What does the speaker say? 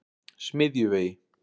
Smiðjuvegi